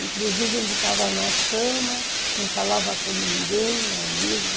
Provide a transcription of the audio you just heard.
Inclusive ele estava na cama, não falava com ninguém ali.